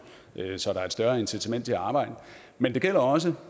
så der er et større incitament til at arbejde men det gælder også